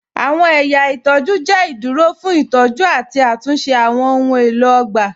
Awọn ẹ̀yà itọju jẹ iduro fun itọju ati atunṣe awọn ohun elo ogba.